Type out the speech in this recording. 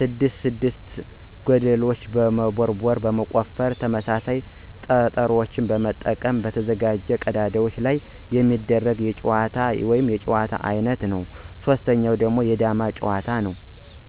6 ለብቻ ገደልችን በመቦርቦር (በመቆፈር) ተመሳሳይ ጠጠሮችን በመልቀም በተዘጋጁ ቀዳዳዎች ላይ በማድረግ የሚጫወቱት የጨዋታ አይነት ነው። 3=የዳማ ጭዋታ; ነው።